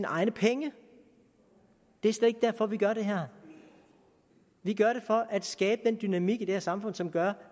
egne penge det er slet ikke derfor vi gør det her vi gør det for at skabe den dynamik i det her samfund som gør